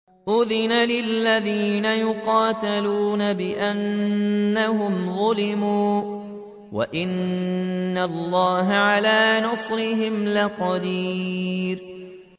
أُذِنَ لِلَّذِينَ يُقَاتَلُونَ بِأَنَّهُمْ ظُلِمُوا ۚ وَإِنَّ اللَّهَ عَلَىٰ نَصْرِهِمْ لَقَدِيرٌ